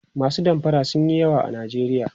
masu damfara sunyi yawa a nijeriya